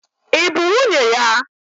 Ị bụ nwunye ya?